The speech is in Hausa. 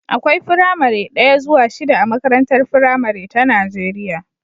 Akwai firamare daya zuwa shida a makarantar firamare ta Najeriya